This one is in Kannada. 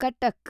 ಕಟ್ಟಾಕ್